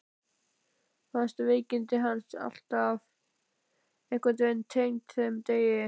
Fannst veikindi hans alltaf einhvern veginn tengd þeim degi.